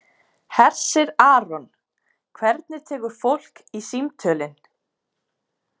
Hersir Aron: Hvernig tekur fólk í símtölin?